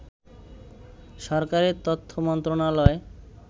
সরকারের তথ্য মন্ত্রণালয়